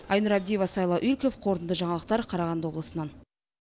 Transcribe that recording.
айнұр абдиева сайлау игіліков қорытынды жаңалықтар қарағанды облысынан